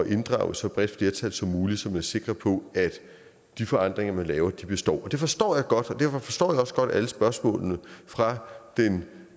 inddrage et så bredt flertal som muligt så man er sikker på at de forandringer man laver består det forstår jeg godt og derfor forstår jeg også godt alle spørgsmålene fra den